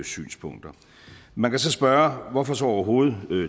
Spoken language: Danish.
synspunkter man kan så spørge hvorfor overhovedet